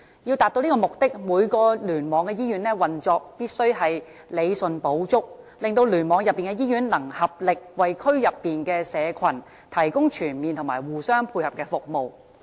要達至此目的，每個聯網的醫院運作均需理順補足，令聯網內的醫院能合力為區內社群提供全面和互相配合的服務。